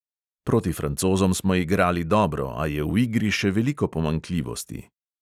Proti francozom smo igrali dobro, a je v igri še veliko pomanjkljivosti.